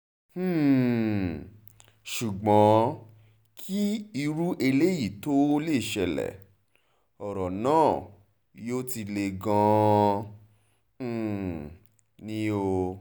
um ṣùgbọ́n kí irú eléyìí tóó ṣẹlẹ̀ ọ̀rọ̀ náà yóò ti le gan-an um ni o